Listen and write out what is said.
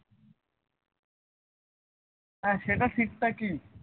হ্যাঁ সেটা ঠিক ঠাকি